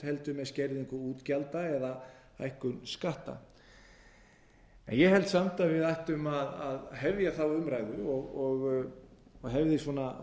heldur með skerðingu útgjalda eða hækkun skatta en ég held samt að við ættum að hefja þá umræðu og hefði